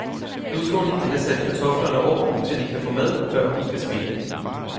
Nu skal hun have sat kartoflerne over, så de kan få mad, før hun skal spille.